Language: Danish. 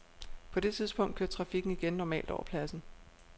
På det tidspunkt kørte trafikken igen normalt over pladsen.